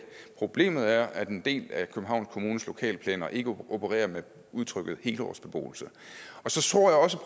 problemet er at en del af københavns kommunes lokalplaner ikke opererer med udtrykket helårsbeboelse så tror jeg også